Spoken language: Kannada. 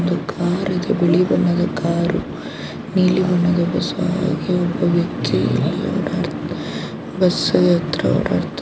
ಇದು ಕಾರು ಇದು ಬಿಳಿ ಬಣ್ಣದ ಕಾರು ನೀಲಿ ಬಣ್ಣದ ಬಸ್ ಹಾಗೆ ಒಬ್ಬ ವ್ಯಕ್ತಿ ಇಲ್ಲಿ ಓಡಾಡುತ್ತಾ ಬಸ್ ಆತ್ರ ಓಡಾಡುತ್ತಾ--